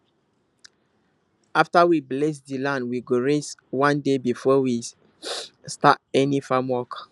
after we bless the land we go rest one day before we start any farm work